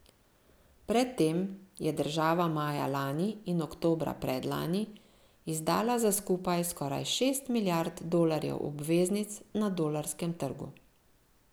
Pred tem je država maja lani in oktobra predlani izdala za skupaj skoraj šest milijard dolarjev obveznic na dolarskem trgu.